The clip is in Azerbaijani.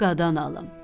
Qadan alım.